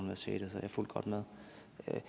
at